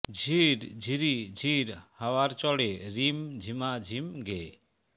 ঝির ঝিরি ঝির হাওয়ার চড়ে রিম ঝিমা ঝিম গেয়ে